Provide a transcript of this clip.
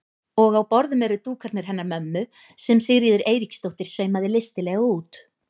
Og á borðum eru dúkarnir hennar mömmu sem Sigríður Eiríksdóttir saumaði listilega út.